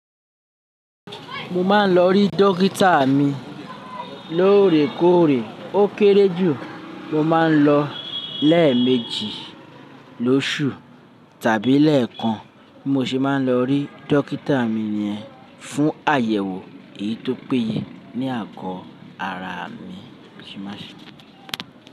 Mo máa ń lọ rí dókítà mi lóòrèkóòrè. Ó kéré jù, mo máa ń lọ lẹ́ẹ̀méjì lóṣù tàbí lẹ́ẹ̀kan, bi mo se máa ń lọ rí dókítà mi nìyẹn fún àyẹ̀wò èyí tó péye ní àgọ́ ara mi.